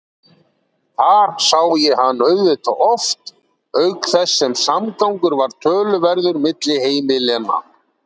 Þar sá ég hann auðvitað oft auk þess sem samgangur var töluverður milli heimilanna.